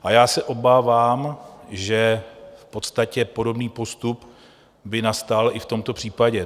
A já se obávám, že v podstatě podobný postup by nastal i v tomto případě.